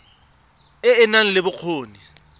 e e nang le bokgoni